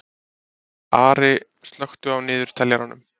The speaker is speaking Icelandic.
Ari, slökktu á niðurteljaranum.